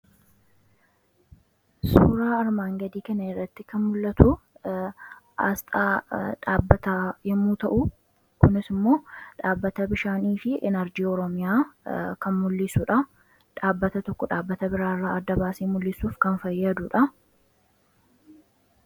suuraa armaan gadii kane irratti kan mul'atu asxaa dhaabbata yommuu ta'u kunis immoo dhaabbata bishaanii fi enerjii ooroomiyaa kan mul'isuudha dhaabbata tokko dhaabbata biraairraa arda baasee mul'isuuf kan fayyaaduudha